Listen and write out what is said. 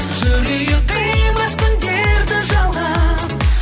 жүрейік қимастың дерті жалған